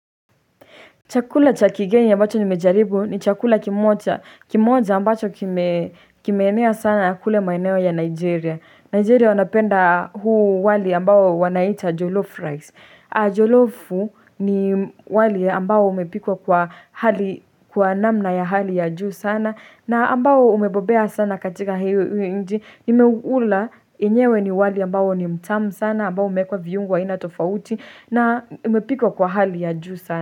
Chakula cha kigeni ambacho nimejaribu ni chakula kimoja. Kimoja ambacho kimenea sana ya kule maeneo ya Nigeria. Nigeria wanapenda huu wali ambao wanaita jolof rice. Jolofu ni wali ambao umepikwa kwa namna ya hali ya juu sana. Na ambao umebobea sana katika hi nchi. Nimeula enyewe ni wali ambao ni mtamu sana. Ambao umekwa viungwa inatofauti. Na umepikwa kwa hali ya juu sana.